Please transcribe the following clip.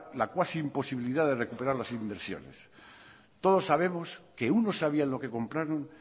la cuasi imposibilidad de recuperar las universidades todos sabemos que unos sabían lo que compraron